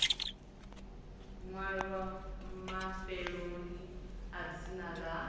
ṅwalwa mafheloni a dzina ḽa